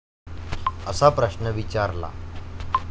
असा प्रश्न विचारला.